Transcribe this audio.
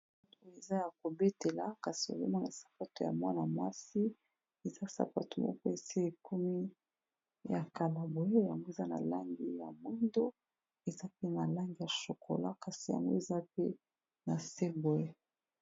oyo eza ya kobetela kasi omema na sapato ya mwana masi eza sapato moko ese ekomi ya kala boye yango eza na langi ya moindo eza pe na langi ya shokola kasi yango eza pe na se boye